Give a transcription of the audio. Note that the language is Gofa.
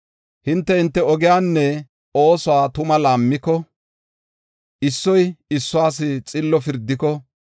Hinte, hinte ogiyanne oosuwa tuma laammiko, issoy issuwas xillo pirdiko,